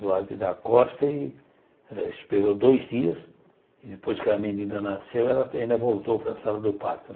Duarte da Costa, e ela esperou dois dias e depois que a menina nasceu, ela ainda voltou para a sala do parto